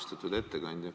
Austatud ettekandja!